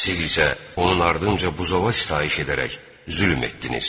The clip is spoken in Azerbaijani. Siz isə onun ardınca buzova sitayiş edərək zülm etdiniz.